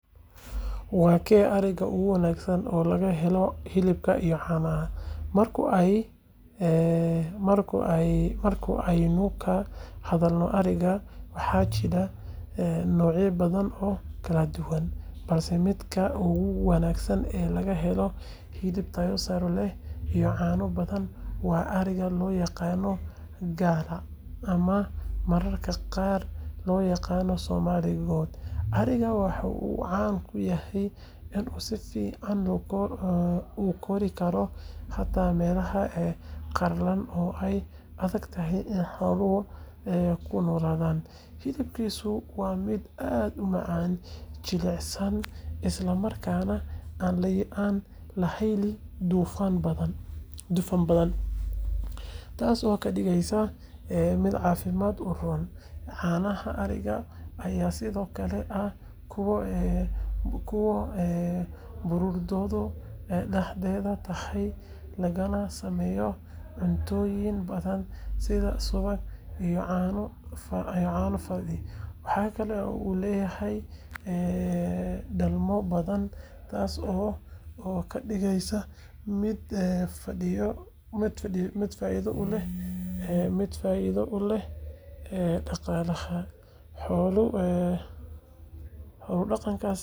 Waa kee ariga ugu wanaagsan oo laga helo hilibka iyo caanaha? Marka aynu ka hadleyno ariga, waxaa jira noocyo badan oo kala duwan, balse midka ugu wanaagsan ee laga helo hilib tayo sare leh iyo caano badan waa ariga loo yaqaan Galla ama mararka qaar loo yaqaan Somali goat. Arigan waxa uu caan ku yahay inuu si fiican u kori karo xataa meelaha qallalan oo ay adag tahay in xooluhu ku noolaadaan. Hilibkiisu waa mid aad u macaan, jilicsan, isla markaana aan lahayn dufan badan, taas oo ka dhigaysa mid caafimaad u roon. Caanaha arigan ayaa sidoo kale ah kuwo baruurtoodu dhexdhexaad tahay, lagana sameeyo cuntooyin badan sida subagga iyo caano fadhi. Waxa kale oo uu leeyahay dhalmo badan, taas oo ka dhigaysa mid faa’iido u leh dhaqaalaha xoolo-dhaqatada. Marka la eego dhinacyadaas oo dhan, ariga Galla waa nooca ugu habboon ee laga helo hilib iyo caano tayo sare leh, isla markaana u adkaysta cimilooyinka qallafsan ee Afrika gaar ahaan.